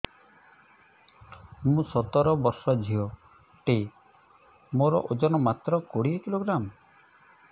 ମୁଁ ସତର ବର୍ଷ ଝିଅ ଟେ ମୋର ଓଜନ ମାତ୍ର କୋଡ଼ିଏ କିଲୋଗ୍ରାମ